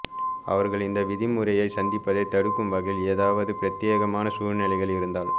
அவர்கள் இந்த விதிமுறையை சந்திப்பதை தடுக்கும் வகையில் ஏதாவது பிரத்தியேகமான சூழ்நிலைகள் இருந்தால்